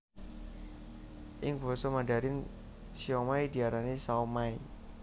Ing basa Mandarin siomai diarani shaomai